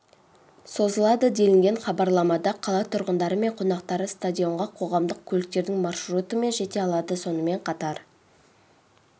созылады делінген хабарламада қала тұрғындары мен қонақтары стадионға қоғамдық көліктердің маршрутымен жете алады сонымен қатар